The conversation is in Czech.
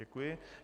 Děkuji.